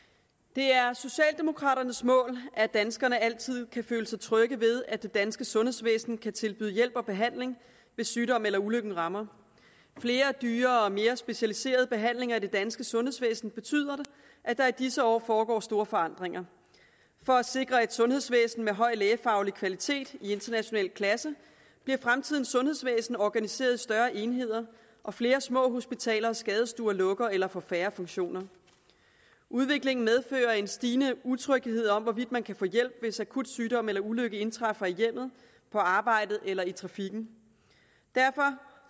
det er socialdemokraternes mål at danskerne altid kan følge sig trygge ved at det danske sundhedsvæsen kan tilbyde hjælp og behandling hvis sygdom eller ulykke rammer flere dyrere og mere specialiserede behandlinger i det danske sundhedsvæsen betyder at der i disse år foregår store forandringer for at sikre et sundhedsvæsen med høj lægefaglig kvalitet i international klasse bliver fremtidens sundhedsvæsen organiseret i større enheder og flere små hospitaler og skadestuer lukker eller får færre funktioner udviklingen medfører en stigende utryghed for om man kan få hjælp hvis akut sygdom eller ulykke indtræffer i hjemmet på arbejdet eller i trafikken derfor